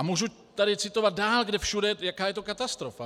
A můžu tady citovat dál, kde všude, jaká je to katastrofa.